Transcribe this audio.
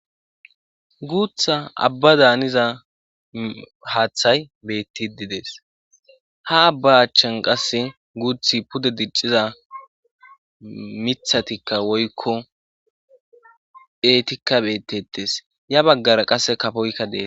Guutha abbadan haniza haaththay beettidi des. Ha abba achchan qasse guuthi pude dicciza mithatikka woykko beetikka beettettes. Ya baggara qasse kafoyikka dees.